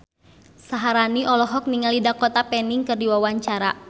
Syaharani olohok ningali Dakota Fanning keur diwawancara